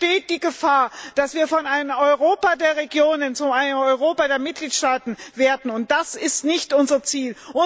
Sonst besteht die Gefahr, dass wir von einem Europa der Regionen zu einem Europa der Mitgliedstaaten werden, und das ist nicht unser Ziel.